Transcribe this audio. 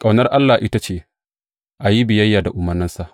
Ƙaunar Allah ita ce, a yi biyayya da umarnansa.